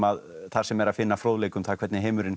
þar sem er að finna fróðleik um það hvernig heimurinn